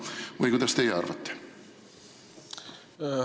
Või kuidas teie arvate?